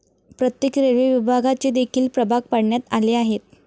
प्रत्येक रेल्वे विभागाचे देखील प्रभाग पाडण्यात आले आहेत.